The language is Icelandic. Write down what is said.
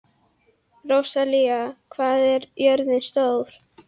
Rósalía, hvað er jörðin stór?